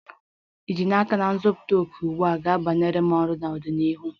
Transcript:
Ì ji n'aka na ịzụta òkè ugbu a, ga-abara m uru n'ọdịnihu?